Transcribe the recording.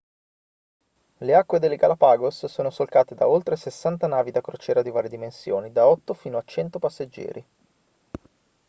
le acque delle galapagos sono solcate da oltre 60 navi da crociera di varie dimensioni da 8 fino a 100 passeggeri